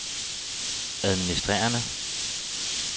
administrerende